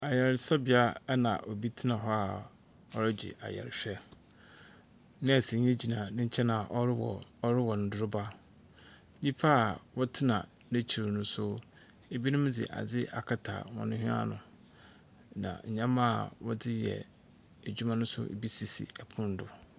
Ayaresabea na obi tsena hɔ a ɔregye ayarehwɛ. Nɛɛsenyi gyina ne nkyɛn a ɔrowɔ ɔrowɔ ndoroba. Nyimpa a ɔtsena n'ekyir no nso, binom dze adze akata hɔ hwene ano, na ndzɛmba a wɔdze yɛ edwuma no nso bi sisi pon do.